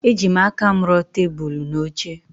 Ejim aka m ruo tebụl na oche.